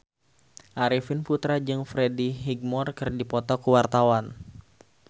Arifin Putra jeung Freddie Highmore keur dipoto ku wartawan